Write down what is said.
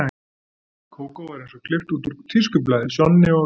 Kókó var eins og klippt út úr tískublaði, Sjonni og